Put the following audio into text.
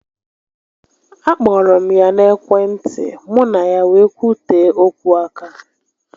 A kpọrọ m ya na ekwe ntị, mụ na ya wee kwutee okwu aka